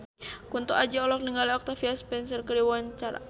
Kunto Aji olohok ningali Octavia Spencer keur diwawancara